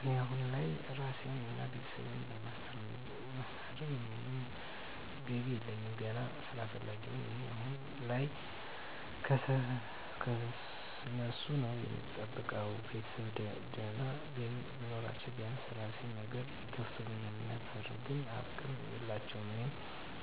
እኔ አሁን ላይ ራሴን እና ቤተሰቤን የማስተዳድርበት ምንም ገቢ የለኝም። ገነት ስራ ፈላጊ ነኝ እኔ አሁን ላይ ከነሱ ነዉ እምጠብቀው፣ ቤተሰብ ድና ገቢ ቢኖራችዉ ቢያንስ የራሴን ነገር ይከፍቱልኝ ነበር ግን አቅም የላቸውም። እኔም